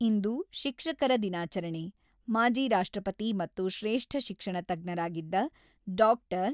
ಇಂದು ಶಿಕ್ಷಕರ ದಿನಾಚರಣೆ, ಮಾಜಿ ರಾಷ್ಟ್ರಪತಿ ಮತ್ತು ಶ್ರೇಷ್ಠ ಶಿಕ್ಷಣ ತಜ್ಞರಾಗಿದ್ದ ಡಾ.